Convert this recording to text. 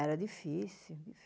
Era difícil.